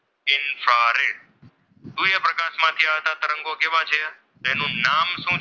તથા તરંગો કેવા છે તેનું નામ શું છે?